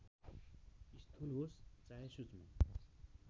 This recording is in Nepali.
स्थूल होस् चाहे सूक्ष्म